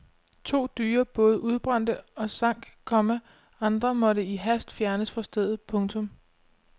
To dyre både udbrændte og sank, komma andre måtte i hast fjernes fra stedet. punktum